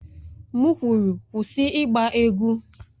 M kwuru, kwụsị ịgba egwu!